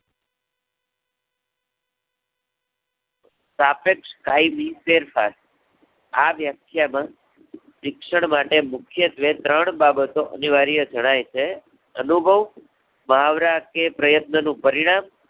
સાપેક્ષ કાયમી ફેરફાર, આ વ્યાખ્યા નો શિક્ષણ માટે મુખ્ય ધ્યેય ત્રણ બાબતો અનિવાર્ય જણાય છે. અનુભવ, મહાવરા કે પ્રયત્ન નું પરિણામ